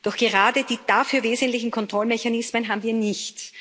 Doch gerade die dafür wesentlichen Kontrollmechanismen haben wir nicht.